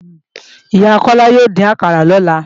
Ìyá Kọ́lá yóò dín àkàrà lọ́la